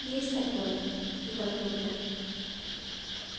есть такое вздохнул я